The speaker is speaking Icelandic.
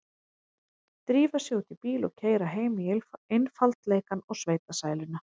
Drífa sig út í bíl og keyra heim í einfaldleikann og sveitasæluna.